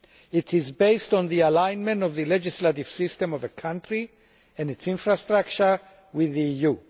It is based on the alignment of the legislative system of a country and its infrastructure with the EU.